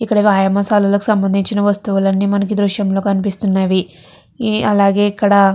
ఇక్కడ వ్యాయామశాలిలకి సంబంధించిన వస్తువులు అన్ని దృశ్యంలో కనిపిస్తున్నవి. అలాగే ఇక్కడ --